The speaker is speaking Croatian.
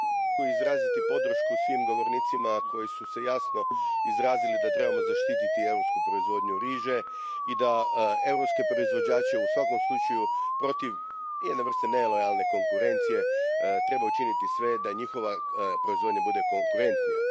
Poštovani predsjedavajući, želio bih izraziti podršku svim govornicima koji su se jasno izrazili da trebamo zaštititi europsku proizvodnju riže i europske proizvođače, u svakom slučaju, protiv jedne vrste nelojalne konkurencije. Treba učiniti sve da njihova proizvodnja bude konkurentnija.